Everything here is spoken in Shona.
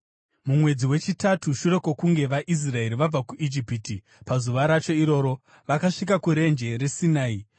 Mumwedzi wechitatu shure kwokunge vaIsraeri vabva kuIjipiti, pazuva racho iroro, vakasvika kuRenje reSinai.